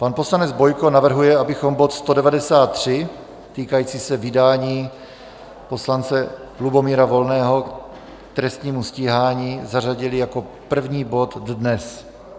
Pan poslanec Bojko navrhuje, abychom bod 193 týkající se vydání poslance Lubomíra Volného k trestnímu stíhání zařadili jako první bod dnes.